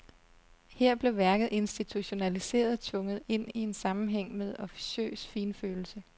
Her blev værket institutionaliseret, tvunget ind i en sammenhæng med officiøs finfølelse.